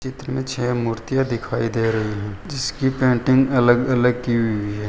चित्र मे छे मूर्तियां दिखाई दे रही है जिसकी पेंटिंग अलग अलग की हुई है।